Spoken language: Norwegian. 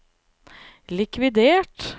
likvidert